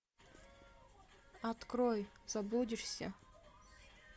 открой заблудишься